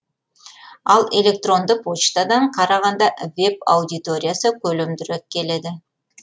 ал электронды почтадан қарағанда веб аудиториясы көлемдірек келеді